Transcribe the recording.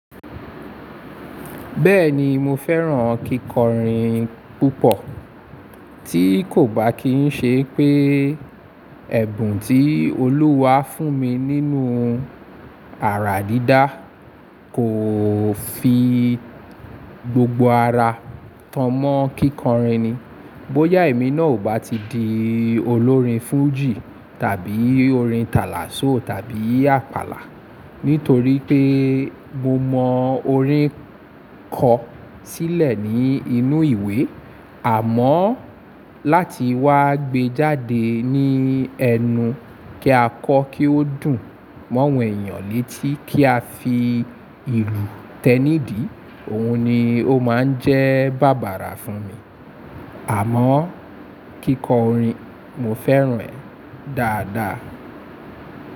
Bẹ́ẹ̀ni mo fẹ́ràn kíkọrin púpọ̀, tí kò bá kí n ṣe pé ẹ̀bùn tí Olúwa fún mi nínú àrà dídá kò fi gbogbo ara taan má kíkọrin ni. Bóyá èmi náà ò bá ti di olórin fújì tàbí orin tàlàsọ tàbí àpàlà. Nítorí pé mo mọ orin kọ sílẹ̀ ní inú ìwé, àmọ́ láti wá gbé jáde ní ẹnu kí a kọ kí ó dùn mọ́ àwọn ènìyàn létí, ká fi ìlù tẹ́ nídì ohun ló máa ń jẹ́ bàbàrà fún mi. Àmọ́ kíkọrin, mo fẹ́ràn rẹ̀ dáadá.